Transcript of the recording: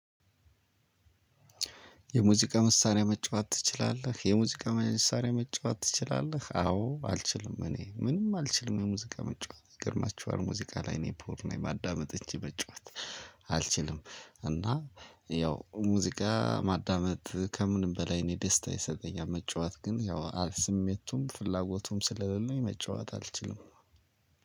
የሙዚቃ መሳሪያ መጫወት ትችላለህ የሙዚቃ መሳሪያ መጫወት ትችላለህ? አዎ አልችልም እኔ ምንም አልችልም የሙዚቃ ምጫወት ይገርማችኋል ሙዚቃ ላይ ነው ፑር ነኝ ማዳመጥ እንጅ በጨዋታ አልችልም። እና ያው ሙዚቃ ማዳመጥ ከምንም በላይ እኔ ደስታ ይሰጠኛል። መጫወት ግን ያው ስሜቱም ፍላጎቱም ስለሌለው መጫወት አልችልም።